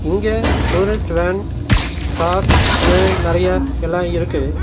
இங்க tourist van car னு நறையா எல்லா இருக்கு.